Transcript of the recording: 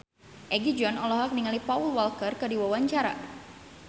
Egi John olohok ningali Paul Walker keur diwawancara